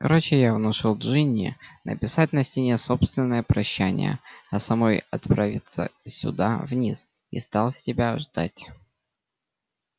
короче я внушил джинни написать на стене собственное прощание а самой отправиться сюда вниз и стал с тебя ждать